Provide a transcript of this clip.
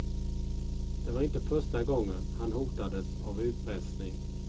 Det var inte första gången han hotades av utpressning.